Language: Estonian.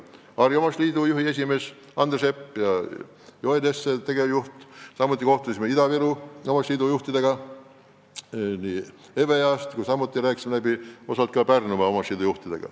Need olid Harjumaa Omavalitsuste Liidu juhatuse esimees Andre Sepp ja liidu tegevjuht Joel Jesse ning Ida-Virumaa Omavalitsuste Liidu juhid, näiteks juhatuse esimees Eve East, samuti Pärnumaa Omavalitsuste Liidu juhid.